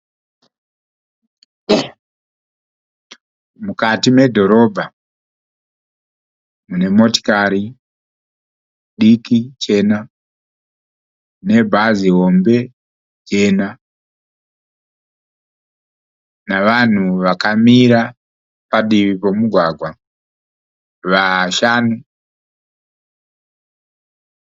Mukati medhorobha mune motikari diki chena nebhazi hombe jena nevanhu vakamira padivi pemugwagwa vashanu.